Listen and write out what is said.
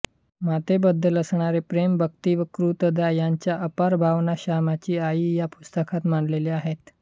मातेबद्दल असणारे प्रेम भक्ति व कृतज्ञता यांच्या अपार भावना श्यामची आई या पुस्तकात मांडलेल्या आहेत